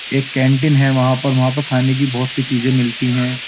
एक कैंटीन है वहाँ पर वहाँ पर खाने की बहुत सी चीजें मिलती हैं।